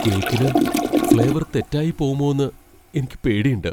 കേക്കിന് ഫ്ളേവർ തെറ്റായിപ്പോവുമോന്ന് എനിക്ക് പേടിണ്ട്.